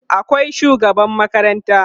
akwai shugaban makaranta